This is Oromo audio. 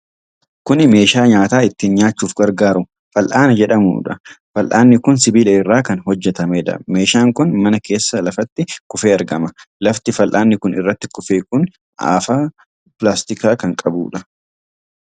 Kuni meeshaa nyaata ittiin nyaachuuf gargaaru, fal'aana jedhamudha. Fal'aanni kun sibiila irraa kan hojjatameedha. Meeshaan kun mana keessa lafatti kufee argama. Lafti fal'aanni kun irratti kufe kun afaa pilaastikaa kan qabuudha.